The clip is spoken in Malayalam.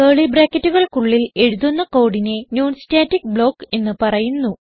കർലി ബ്രാക്കറ്റുകൾക്കുള്ളിൽ എഴുതുന്ന കോഡിനെ non സ്റ്റാറ്റിക് ബ്ലോക്ക് എന്ന് പറയുന്നു